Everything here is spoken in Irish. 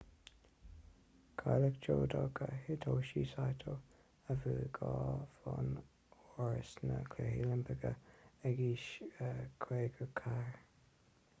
cailleadh judoka hitoshi saito a bhuaigh dhá bhonn óir sna cluichí oilimpeacha ag aois 54